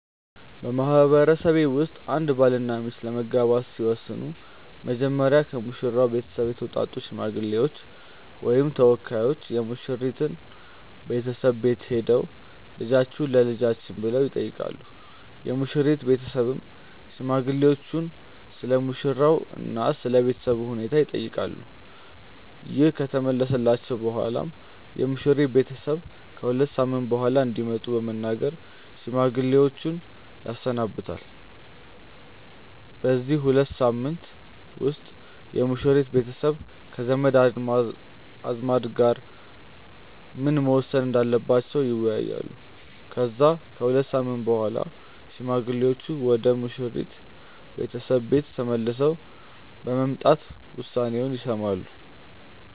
በማህበረሰቤ ውስጥ አንድ ባልና ሚስት ለመጋባት ሲወስኑ መጀመሪያ ከሙሽራው ቤተሰብ የተውጣጡ ሽማግሌዎች ወይም ተወካዮች የሙሽራይቱ ቤተሰብ ቤት ሄደው "ልጃችሁን ለልጃችን" ብለው ይጠይቃሉ። የሙሽሪት ቤተሰብም ሽማግሌዎቹን ስለሙሽራው እና ስለ ቤተሰቡ ሁኔታ ይጠይቃሉ። ይህ ከተመለሰላቸው በኋላም የሙሽሪት ቤተሰብ ከ ሁለት ሳምንት በኋላ እንዲመጡ በመናገር ሽማግሌዎችን ያሰናብታል። በዚህ ሁለት ሳምንት ውስጥ የሙሽሪት ቤተሰብ ከዘመድ አዝማድ ጋር ምን መወሰን እንዳለባቸው ይወያያሉ። ከዛ ከሁለት ሳምንት በኋላ ሽማግሌዎቹ ወደ ሙሽሪት ቤተሰብ ቤት ተመልሰው በመምጣት ውሳኔውን ይሰማሉ።